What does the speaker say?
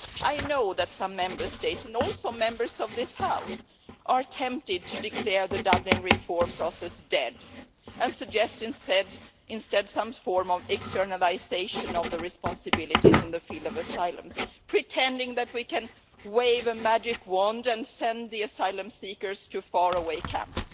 I know that some Member States and also Members of this House are tempted to declare the Dublin reform process dead and suggest instead some form of externalisation of responsibilities in the field of asylum, pretending that we can wave a magic wand and send the asylum seekers to faraway camps,